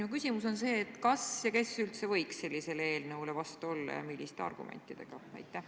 Minu küsimus on see: kas ja kes üldse võiks sellisele eelnõule vastu olla ning milliste argumentidega?